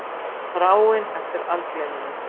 Þráin eftir algleyminu.